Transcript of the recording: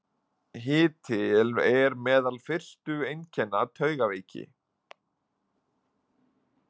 Hiti er meðal fyrstu einkenna taugaveiki.